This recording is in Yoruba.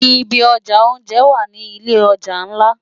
Ibi òjá óonjè wá ni ilé òjá nlá